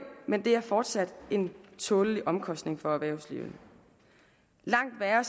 men det er fortsat en tålelig omkostning for erhvervslivet langt værre